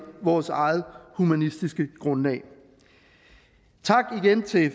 vores eget humanistiske grundlag tak igen til